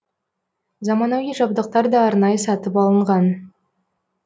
заманауи жабдықтар да арнайы сатып алынған